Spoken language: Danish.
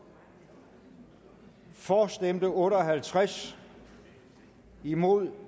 for stemte otte og halvtreds imod